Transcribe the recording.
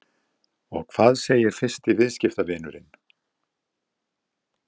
Og hvað segir fyrsti viðskiptavinurinn?